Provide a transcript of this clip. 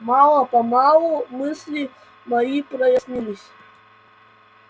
мало-помалу мысли мои прояснились